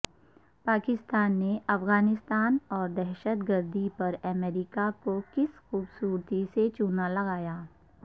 پاکستان نے افغانستان اور دہشت گردی پر امریکہ کو کس خوبصورتی سے چونا لگایا